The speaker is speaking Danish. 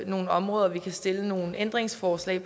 nogle områder vi kan stille nogle ændringsforslag